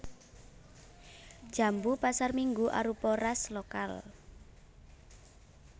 Jambu pasarminggu arupa ras lokal